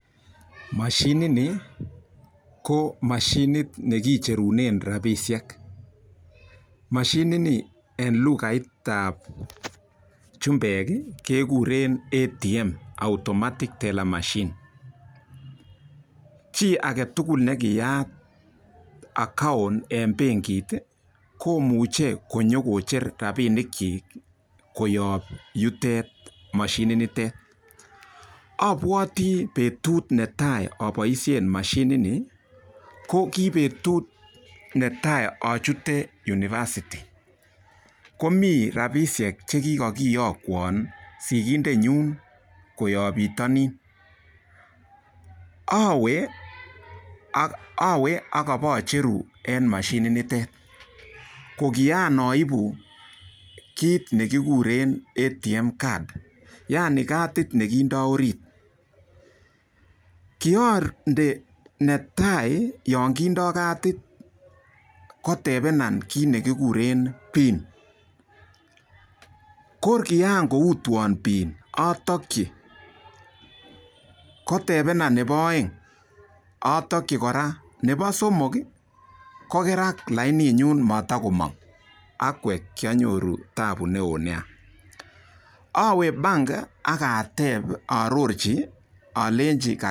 Mashinini ko mashinit nekicherune rapinik. mashinini eng lukait ab chumbek kegure ATM. Automatic Tele Machine Chi ake tugul nekiyat account eng benkit komuchei konyokocher rabinikchi koyob yutet, mashinitet. Abwoti betut netai aboishen mashinini, ko kibetut netai achute university komi rapishek che kikakiyokwa sigindenyu koyop pitonin. Awe akopacheru eng mashinitet ko kiyaibu kit nekiguren ATM card yani kadit nekindoi orit. Kiande netai yo kindoi kadit kotebenan kit nekiguren pin ko kiankoutwo pin atokchi kotebenan nebo oeng atokchi kora nebo somok kokerak lainiyun matakomon'g. aikwek kianyoru tabu neo neo. Awe bank ak atep aarorchi alenji ka.